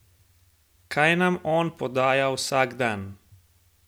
Kaj nam on podaja vsak dan?